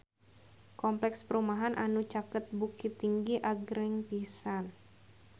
Kompleks perumahan anu caket Bukittinggi agreng pisan